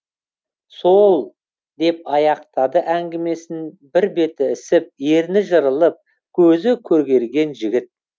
сол деп аяқтады әңгімесін бір беті ісіп ерні жырылып көзі көгерген жігіт